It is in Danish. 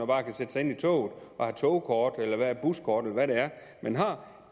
bare kan sætte sig ind i toget og have togkort eller buskort eller hvad det er man har